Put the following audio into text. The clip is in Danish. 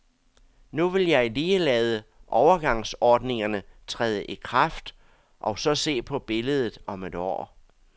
Nu vil jeg lige lade overgangsordningerne træde i kraft og så se på billedet om et år.